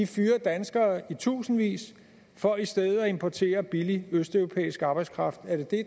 fyrer danskere i tusindvis for i stedet at importere billig østeuropæisk arbejdskraft er det det